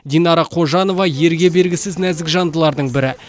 динара қожанова ерге бергісіз нәзік жандылардың бірі